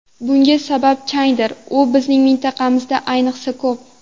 Bunga sabab changdir, u bizning mintaqamizda ayniqsa ko‘p.